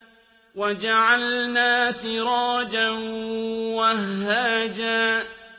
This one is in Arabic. وَجَعَلْنَا سِرَاجًا وَهَّاجًا